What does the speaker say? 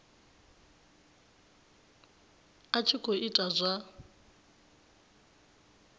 a tshi khou ita zwa